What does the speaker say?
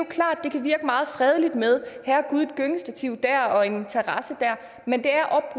klart at det kan virke meget fredeligt med et gyngestativ her og en terrasse der men det er